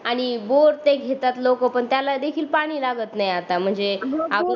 आणि बोर ते घेतात लोकं पण त्याला देखील पाणी लागत नाही आता म्हणजे बोर